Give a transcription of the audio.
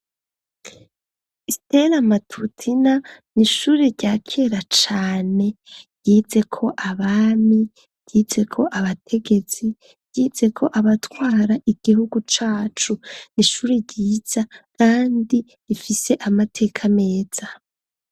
Stela matutina ni ishuri rya kera cane yize ko abami yize ko abategetsi yize ko abatwara igihugu cacu n'ishuri ryiza, kandi ifise amateka ameza.